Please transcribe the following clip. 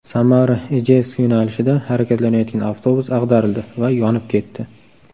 Samara Ijevsk yo‘nalishida harakatlanayotgan avtobus ag‘darildi va yonib ketdi.